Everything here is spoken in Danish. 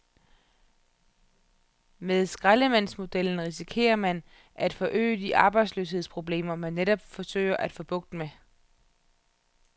Med skraldemandsmodellen risikerer man at forøge de arbejdsløshedsproblemer, man netop forsøger at få bugt med.